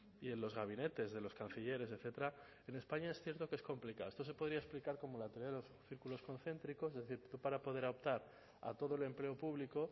y de los gabinetes de los cancilleres etcétera en españa es cierto que es complicado esto se podría explicar como la teoría de los círculos concéntricos es decir tú para poder optar a todo el empleo público